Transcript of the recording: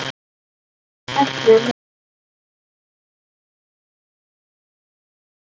Ekki nema þið viljið taka með ykkur altarisbríkina, sagði hann.